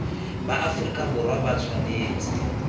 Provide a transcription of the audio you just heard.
ba aferika borwa ba tshwanetse